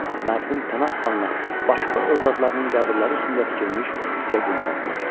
Mərhum Pənah xanla başqa övladlarının qəbirləri üstündə tikilmiş uca günbəzlər.